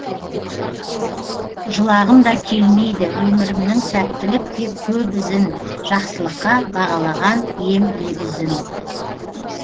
жылағым да келмейді өмірімнің сәттілік деп көп ізін жақсылыққа бағалаған ем лебізін